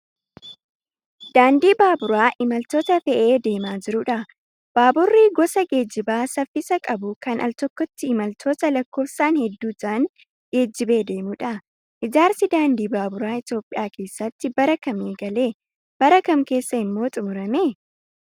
Daandii baaburaa imaltoota fe'ee deemaa jirudha. Baaburri gosa geejjibaa saffisa qabu kan altokkotti imaltoota lakkoofsaan hedduu ta'an geejjibee deemudha. Ijaarsi daandii baaburaa Itoophiyaa keessatti bara kam eegalee bara kam keessa ammoo xumurame?